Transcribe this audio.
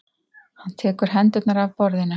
Hann tekur hendurnar af borðinu.